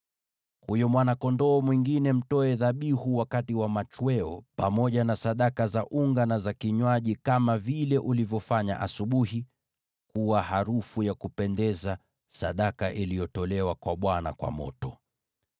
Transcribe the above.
Huyo mwana-kondoo mwingine mtoe dhabihu wakati wa machweo pamoja na sadaka za unga na za kinywaji kama vile ulivyofanya asubuhi, kuwa harufu ya kupendeza, sadaka iliyotolewa kwa Bwana kwa moto.